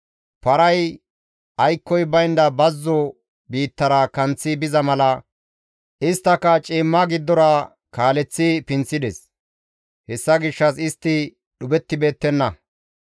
Paray aykkoy baynda bazzo biittara kanththi biza mala, isttaka ciimma giddora kaaleththi pinththides; hessa gishshas istti dhuphettibeettenna.